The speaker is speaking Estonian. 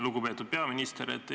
Lugupeetud peaminister!